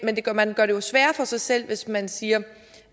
man gør det jo sværere for sig selv hvis man siger